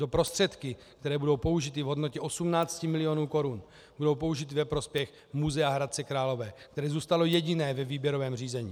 Tyto prostředky, které budou použity, v hodnotě 18 milionů korun, budou použity ve prospěch muzea Hradce Králové, které zůstalo jediné ve výběrovém řízení.